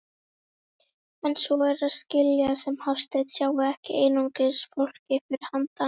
En svo er að skilja sem Hafsteinn sjái ekki einungis fólkið fyrir handan.